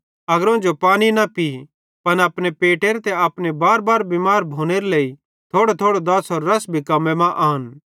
अग्रोवं जो पानी न पी पन अपने पेटेरे ते अपने बारबार बिमार भोनेरे लेइ थोड़ोथोड़ो दाछ़रो रस भी कम्मे मां आन